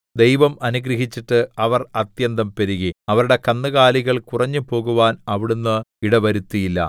ദൈവം അനുഗ്രഹിച്ചിട്ട് അവർ അത്യന്തം പെരുകി അവരുടെ കന്നുകാലികൾ കുറഞ്ഞുപോകുവാൻ അവിടുന്ന് ഇട വരുത്തിയില്ല